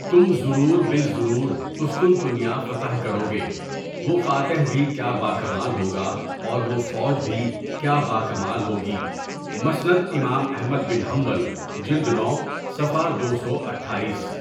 تم ضرور بالضرور قسطنطنیہ فتح کرو گے، وہ فاتح بھی کیا باکمال ہوگا اور وہ فوج بھی کیا باکمال ہوگی مسند امام احمد بن حنبل، جلد نو، صفحہ دو سو اٹھایس.